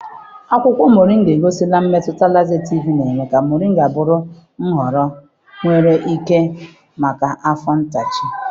Akwụkwọ Mọrnga egosila mmetụta lazetịv na-eme ka mọrịnga bụrụ nhọrọ enwere ike maka afọ ntachi.